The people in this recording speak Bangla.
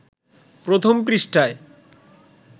প্রথম পৃষ্ঠায়